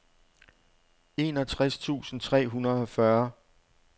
enogtres tusind tre hundrede og fyrre